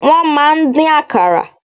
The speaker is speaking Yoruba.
Wọ́n máa ń dín Àkàrà.